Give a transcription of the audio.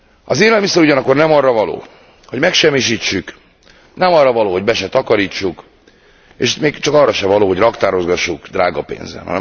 Az élelmiszer ugyanakkor nem arra való, hogy megsemmisítsük, nem arra való, hogy be se takarítsuk, és még csak arra se való, hogy raktározgassuk drága pénzen.